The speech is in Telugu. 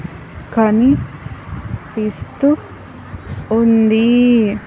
కనిపిస్తు ఉంది.